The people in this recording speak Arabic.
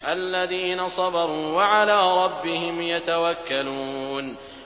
الَّذِينَ صَبَرُوا وَعَلَىٰ رَبِّهِمْ يَتَوَكَّلُونَ